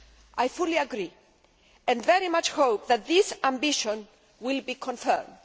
I fully agree, and very much hope that this ambition will be confirmed.